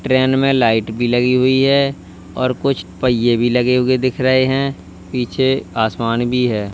Train में light भी लगी हुई है और कुछ पहिए भी लगे हुए दिख रहे हैं। पीछे आसमान भी है।